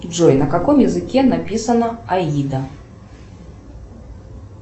джой на каком языке написана аида